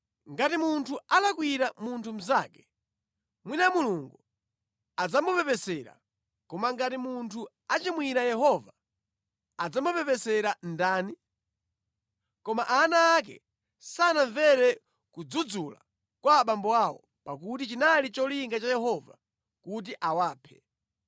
Ngati munthu alakwira munthu mnzake, mwina Mulungu adzamupepesera, koma ngati munthu achimwira Yehova adzamupepesera ndani?” Koma ana ake sanamvere kudzudzula kwa abambo awo, pakuti chinali cholinga cha Yehova kuti awaphe.